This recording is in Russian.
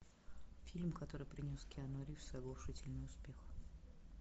фильм который принес киану ривз оглушительный успех